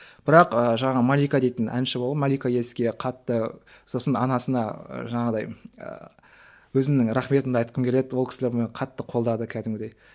бірақ ы жаңағы малика дейтін әнші болған малика еске қатты сосын анасына жаңағыдай ы өзімнің рахметімді айтқым келеді ол кісілер мені қатты қолдады кәдімгідей